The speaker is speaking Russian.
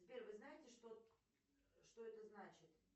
сбер вы знаете что что это значит